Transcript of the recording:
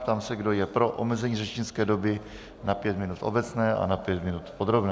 Ptám se, kdo je pro omezení řečnické doby na pět minut v obecné a na pět minut v podrobné.